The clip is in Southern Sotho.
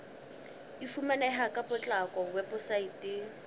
e fumaneha ka potlako weposaeteng